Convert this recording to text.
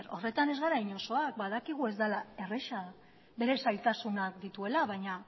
horretan ez gara inozoak badakigu ez dela erraza bere zailtasunak dituela baina